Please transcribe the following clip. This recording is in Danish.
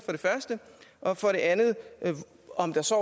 og for det andet om der så